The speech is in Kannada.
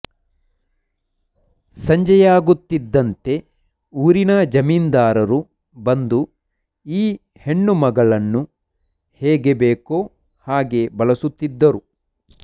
ಸಂಜೆಯಾಗುತ್ತಿದ್ದಂತೆ ಊರಿನ ಜಮೀನ್ದಾರರು ಬಂದು ಈ ಹೆಣ್ಣು ಮಗಳನ್ನು ಹೇಗೆ ಬೇಕೋ ಹಾಗೆ ಬಳಸುತ್ತಿದ್ದರು